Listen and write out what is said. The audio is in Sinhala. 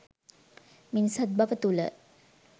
මිනිසත්බව තුළ